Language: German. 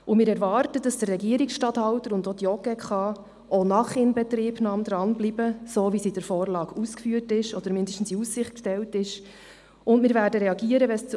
Und wir erwarten, dass der Regierungsstatthalter und auch die JGK auch nach Inbetriebnahme dranbleiben, so wie das in der Vorlage ausgeführt oder zumindest in Aussicht gestellt worden ist.